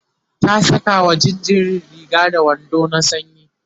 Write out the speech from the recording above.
ta Saka wa jinjirin Riga da wando na sanyi